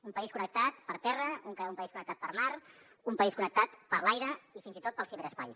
un país connectat per terra un país connectat per mar un país connectat per l’aire i fins i tot pel ciberespai